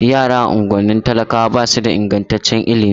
Yara a unguwannin talakawa ba su da ingantaccen ilimi